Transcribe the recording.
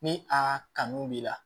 Ni a kanu b'i la